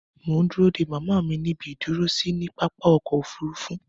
Mò ń dúró dé màmá mi ní ibi ìdúró sí ní pápá-ọkọ òfurufu.